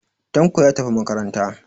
Tanko ya tafi makaranta.